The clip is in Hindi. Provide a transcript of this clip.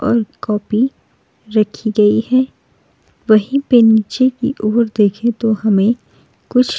और कॉपी रखी गई हैं वहीं पे नीचे की ओर देखें तो हमें कुछ --